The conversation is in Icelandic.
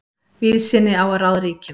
Víðsýni á að ráða ríkjum.